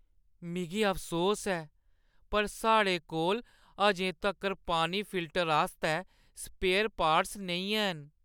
मिगी अफसोस ऐ पर साढ़े कोल अजें तक्कर पानी फिल्टर आस्तै स्पेयर पार्ट्स नेईं हैन ।